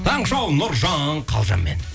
таңғы шоу нұржан қалжанмен